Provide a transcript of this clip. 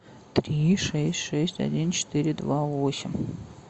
три шесть шесть один четыре два восемь